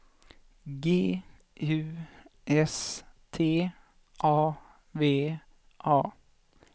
G U S T A V A